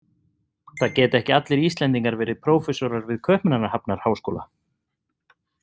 Það geta ekki allir Íslendingar verið prófessorar við Kaupmannahafnarháskóla.